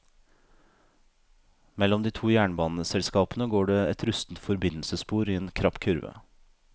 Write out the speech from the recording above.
Mellom de to jernbaneselskapene går det et rustent forbindelsesspor i en krapp kurve.